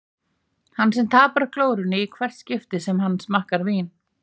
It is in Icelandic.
Hann sem tapar glórunni í hvert skipti sem hann smakkar vín.